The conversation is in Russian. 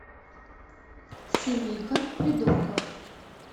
семейка придурков